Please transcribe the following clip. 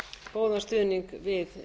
góðan stuðning við